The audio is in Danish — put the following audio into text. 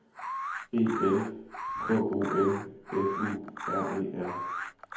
E L K O M F U R E R